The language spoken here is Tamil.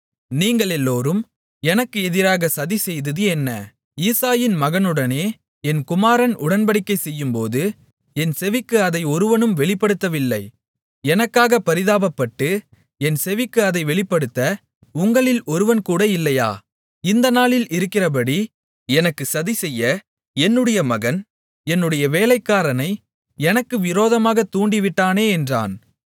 நீங்களெல்லோரும் எனக்கு எதிராக சதி செய்தது என்ன ஈசாயின் மகனுடனே என் குமாரன் உடன்படிக்கை செய்யும்போது என் செவிக்கு அதை ஒருவனும் வெளிப்படுத்தவில்லை எனக்காகப் பரிதாபப்பட்டு என் செவிக்கு அதை வெளிப்படுத்த உங்களில் ஒருவன் கூட இல்லையா இந்த நாளில் இருக்கிறபடி எனக்குச் சதிசெய்ய என்னுடைய மகன் என்னுடைய வேலைக்காரனை எனக்கு விரோதமாக தூண்டிவிட்டானே என்றான்